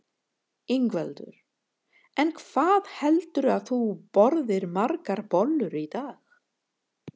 Ingveldur: En hvað heldurðu að þú borðir margar bollur í dag?